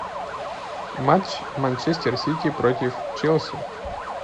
матч манчестер сити против челси